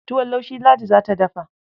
Tuwon laushi Ladi za ta dafa.